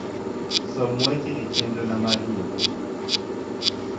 som weche e chenro na mar nyiepo